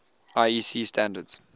iec standards